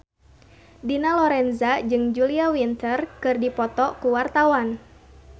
Dina Lorenza jeung Julia Winter keur dipoto ku wartawan